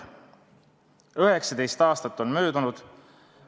19 aastat on möödunud.